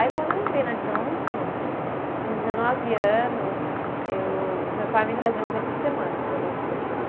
Aí quando eu entrei na Johnson, com dezenove anos eu, o meu pai me trazia uma vez por semana para fazer um curso aqui.